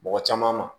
Mɔgɔ caman ma